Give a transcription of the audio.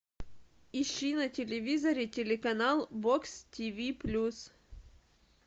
ищи на телевизоре телеканал бокс тиви плюс